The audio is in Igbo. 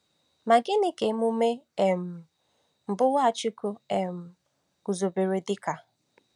Ma gịnị ka emume um mbụ Nwachukwu um guzobere dị ka?